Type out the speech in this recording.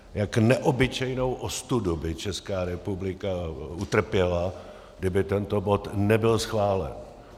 Jak neobyčejnou ostudu by Česká republika utrpěla, kdyby tento bod nebyl schválen.